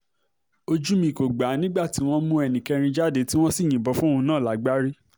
ojú mi kò gbà á mọ́ nígbà tí wọ́n mú ẹnì kẹrin jáde tí wọ́n sì yìnbọn fóun náà lágbárí